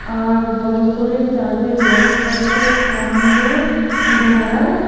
আর বড়ো করে চার্ডে লেখা আছে আনন্দধারা .